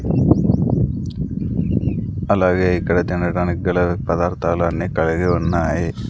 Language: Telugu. అలాగే ఇక్కడ తినటానికి గల పదార్థాలు అన్నీ కడిగి ఉన్నాయి.